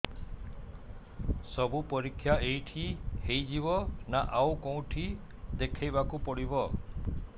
ସବୁ ପରୀକ୍ଷା ଏଇଠି ହେଇଯିବ ନା ଆଉ କଉଠି ଦେଖେଇ ବାକୁ ପଡ଼ିବ